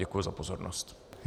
Děkuji za pozornost.